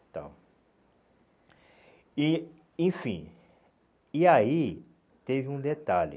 Então... E, enfim... E aí, teve um detalhe.